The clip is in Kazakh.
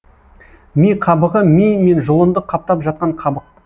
ми қабығы ми мен жұлынды қаптап жатқан қабық